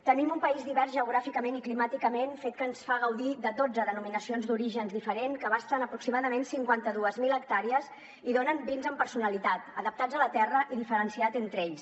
tenim un país divers geogràficament i climàticament fet que ens fa gaudir de dotze denominacions d’origen diferent que abasten aproximadament cinquanta dos mil hectàrees i donen vins amb personalitat adaptats a la terra i diferenciats entre ells